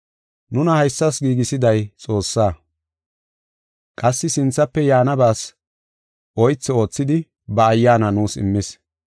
Nuna haysas giigisiday Xoossaa. Qassi sinthafe yaanabas oythi oothidi ba Ayyaana nuus immis.